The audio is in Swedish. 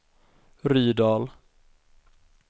Rydal